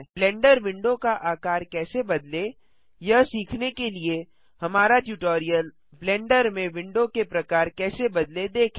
blender window का आकार कैसे बदलें यह सीखने के लिए हमारा ट्यूटोरियल -ब्लेंडर में विंडो के प्रकार कैसे बदलें देखें